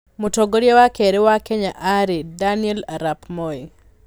Mũtongoria wa kerĩ wa Kenya aarĩ Daniel arap Moi.